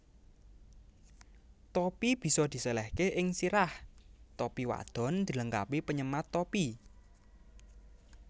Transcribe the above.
Topi bisa disèlèhke ing sirah Topi wadon dilengkapi penyemat topi